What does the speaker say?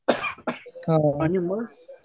Coughing आणि मग